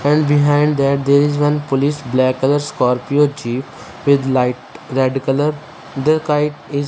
and behind that there is one police black colour scorpio Jeep with light red colour the kite is--